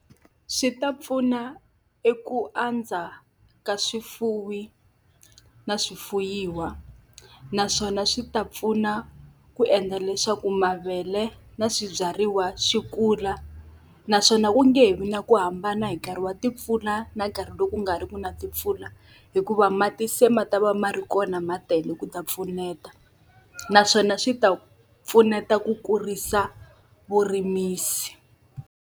Swi ta pfuna eku andza ka swifuwi na swifuwiwa. Naswona swi ta pfuna ku endla leswaku mavele na swibyariwa swi kula. Naswona ku nge vi na ku hambana hi nkarhi wa timpfula na nkarhi lowu ku nga ri ku na timpfula, hikuva mati se ma ta va ma ri kona ma tele ku ta pfuneta. Naswona swi ta pfuneta ku kurisa vurimisi.